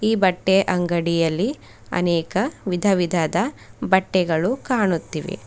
ಈ ಬಟ್ಟೆಯ ಅಂಗಡಿಯಲ್ಲಿ ಅನೇಕ ವಿಧವಿಧದ ಬಟ್ಟೆಗಳು ಕಾಣುತ್ತಿವೆ.